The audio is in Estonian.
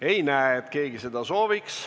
Ei näe, et keegi neid üle anda sooviks.